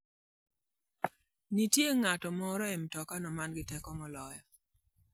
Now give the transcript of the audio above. Nitie ng'at moro e mtokano ma nigi teko moloya.